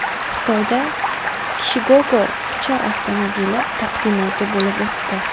Xitoyda Kiwigogo uchar avtomobili taqdimoti bo‘lib o‘tdi.